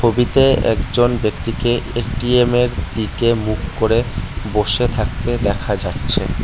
ছবিতে একজন ব্যক্তিকে এটিএমের দিকে মুখ করে বসে থাকতে দেখা যাচ্ছে।